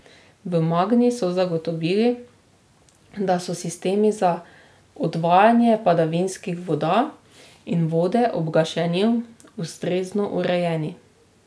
V Magni so zagotovili, da so sistemi za odvajanje padavinskih voda in vode ob gašenju ustrezno urejeni.